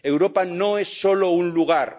Europa no es solo un lugar.